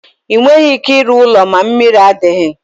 Enweghị ike ịrụ ụlọ ma mmiri adighi.